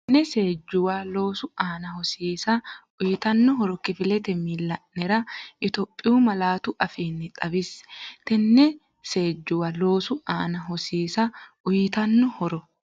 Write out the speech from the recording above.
Tenne seejjuwa loosu aana hosiisa uyitanno horo kifilete miilla’nera Itophiyu malaatu afiinni xawisse Tenne seejjuwa loosu aana hosiisa uyitanno horo.